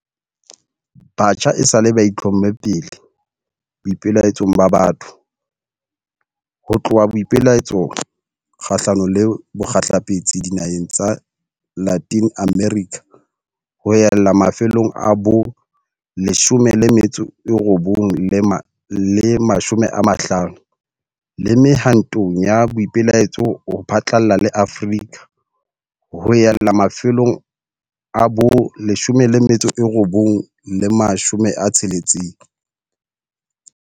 Batjha esale ba itlhomme pele boipelaetsong ba batho, ho tloha boipelaetsong kgahlano le bokgehlepetsi dinaheng tsa Latin America ho ella mafelong a bo 1950, le mehwantong ya boipelaetso ho phatlalla le Afrika ho ella mafelong a bo 1960.